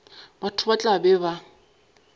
batho ba tla be ba